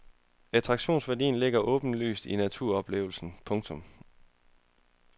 Attraktionsværdien ligger åbenlyst i naturoplevelsen. punktum